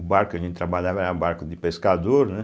O barco que a gente trabalhava era barco de pescador, né?